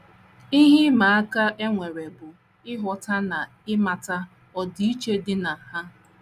Ihe ịma aka e nwere bụ ịghọta na ịmata ọdịiche dị na ha. ”